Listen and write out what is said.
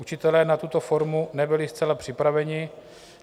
Učitelé na tuto formu nebyli zcela připraveni.